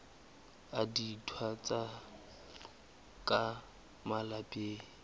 a dintwa tsa ka malapeng